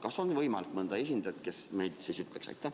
Kas on võimalik leida mõnda valitsuse esindajat, kes meile midagi ütleks?